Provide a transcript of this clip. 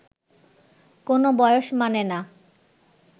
কোনও বয়স মানে না